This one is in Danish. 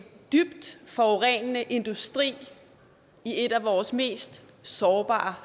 dybt forurenende industri i et af vores mest sårbare